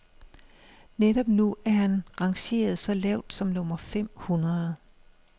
Netop nu er han rangeret så lavt som nummer fem hundrede.